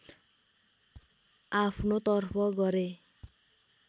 आफ्नो तर्फ गरे